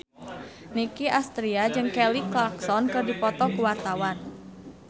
Nicky Astria jeung Kelly Clarkson keur dipoto ku wartawan